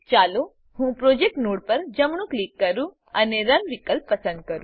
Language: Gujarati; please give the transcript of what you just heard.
ચાલો હું પ્રોજેક્ટ નોડ પર જમણું ક્લિક કરું અને રન વિકલ્પ પસંદ કરું